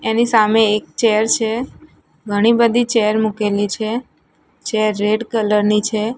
એની સામે એક ચેર છે ઘણી બધી ચેર મુકેલી છે ચેર રેડ કલર ની છે.